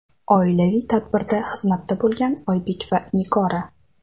Oilaviy tadbirda xizmatda bo‘lgan Oybek va Nigora .